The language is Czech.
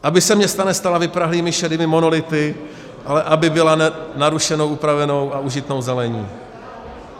Aby se města nestala vyprahlými šedými monolity, ale aby byla narušena upravenou a užitnou zelení.